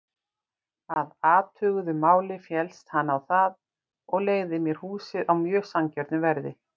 Að athuguðu máli féllst hann á það og leigði mér húsið á mjög sanngjörnu verði.